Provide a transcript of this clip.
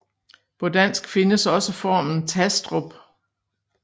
På dansk findes også formen Tastrup